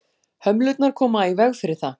Hömlurnar koma í veg fyrir það.